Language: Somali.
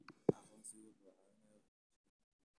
Aqoonsigu wuxuu caawiyaa waxbarashada.